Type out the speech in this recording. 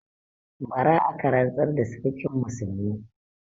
Bara aka rantsar da Sarkin Musulmi.